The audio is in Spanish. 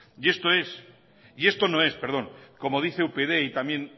y esto no es como dice upyd y también